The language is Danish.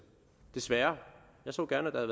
desværre jeg så gerne at der